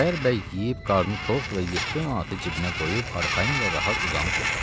Xudayar yeyib qarnı tox və 7 manatı cibinə qoyub arxayın və rahat uzanıb yatdı.